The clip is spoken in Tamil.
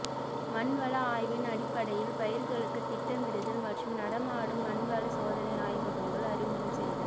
மண் வள ஆய்வின் அடிப்படையில் பயிர்களுக்குத் திட்டமிடுதல் மற்றும் நடமாடும் மண்வள சோதனை ஆய்வகங்கள் அறிமுகம் செய்தல்